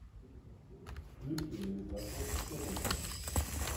включи ньюкасл тоттенхэм